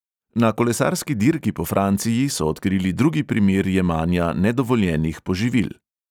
Na kolesarski dirki po franciji so odkrili drugi primer jemanja nedovoljenih poživil.